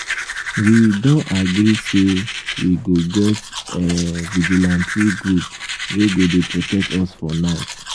we don agree say we go get um vigilante group wey go dey protect us for night